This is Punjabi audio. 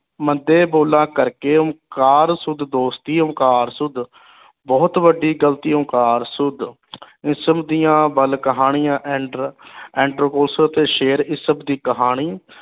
ਮੰਦੇ ਬੋਲਾ ਕਰਕੇ ਓਂਕਾਰ ਸੂਦ ਦੋਸਤੀ ਓਂਕਾਰ ਸੂਦ ਬਹੁਤ ਵੱਡੀ ਗ਼ਲਤੀ ਓਂਕਾਰ ਸੂਦ ਦੀਆ ਕਹਾਣੀਆਂ ਤੇ ਸ਼ੇਰ ਇਸਬ ਦੀ ਕਹਾਣੀ